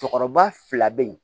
Cɔcɔba fila be ye